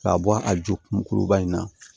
K'a bɔ a ju muruba in na